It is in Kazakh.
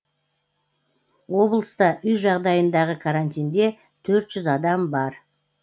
облыста үй жағдайындағы карантинде төрт жүз адам бар